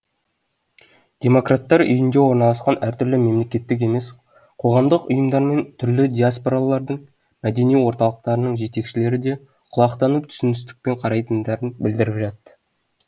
демократтар үйінде орналасқан әртүрлі мемлекеттік емес қоғамдық ұйымдармен түрлі диаспоралардың мәдени орталықтарының жетекшілері де құлақтанып түсіністікпен қарайтындарын білдіріп жатты